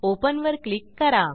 Openवर click करा